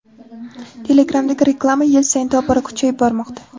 Telegram’dagi reklama yil sayin tobora kuchayib bormoqda.